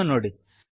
ಇದನ್ನು ನೋಡಿ